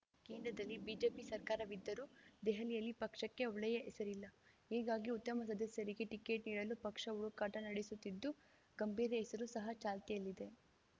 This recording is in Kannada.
ಕೇಂದ್ರದಲ್ಲಿ ಬಿಜೆಪಿ ಸರ್ಕಾರವಿದ್ದರೂ ದೆಹಲಿಯಲ್ಲಿ ಪಕ್ಷಕ್ಕೆ ಒಳ್ಳೆಯ ಹೆಸರಿಲ್ಲ ಹೀಗಾಗಿ ಉತ್ತಮ ಸದಸ್ಯರಿಗೆ ಟಿಕೆಟ್‌ ನೀಡಲು ಪಕ್ಷ ಹುಡುಕಾಟ ನಡೆಸುತ್ತಿದ್ದು ಗಂಭೀರ್‌ ಹೆಸರು ಸಹ ಚಾಲ್ತಿಯಲ್ಲಿದೆ